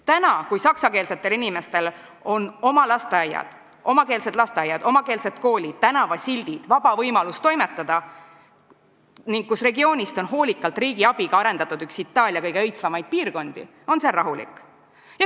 Nüüd, kui saksakeelsetel inimestel on omakeelsed lasteaiad, omakeelsed koolid, tänavasildid ja vaba võimalus toimetada ning regioonist on riigi abiga hoolikalt arendatud üks Itaalia kõige õitsvamaid piirkondi, on seal rahulik.